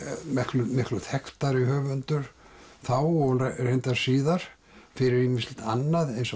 miklu miklu þekktari höfundur þá og reyndar síðar fyrir ýmislegt annað eins